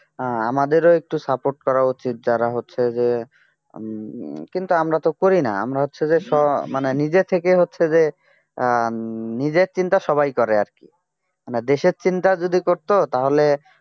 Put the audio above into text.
আমাদেরও একটু support করা উচিত যারা হচ্ছে যে হম কিন্তু আমরা তো করি না আমরা হচ্ছে যে সমানে নিজে থেকে হচ্ছে যে হম নিজের চিন্তা সবাই করে আর কি দেশের চিন্তা যদি করত তাহলে